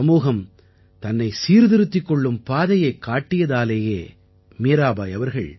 சமூகம் தன்னை சீர்திருத்திக் கொள்ளும் பாதையைக் காட்டியதாலேயே மீராபாய் அவர்கள்